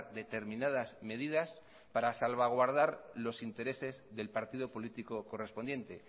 determinadas medidas para salvaguardar los intereses del partido político correspondiente